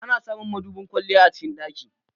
Ana samun madubin kwalliya a cikin ɗaki.